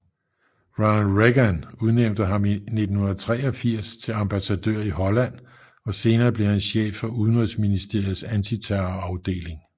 Ronald Reagan udnævnte ham i 1983 til ambassadør i Holland og senere blev han chef for udenrigsministeriets antiterrorafdeling